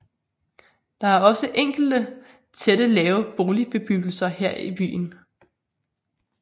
Der er også enkelte tætte lave boligbebyggelser i byen